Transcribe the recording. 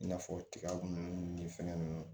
I n'a fɔ tiga nunnu ni fɛn nunnu